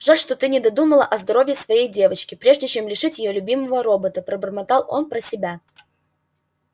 жаль что ты не додумала о здоровье своей девочки прежде чем лишить её любимого робота пробормотал он про себя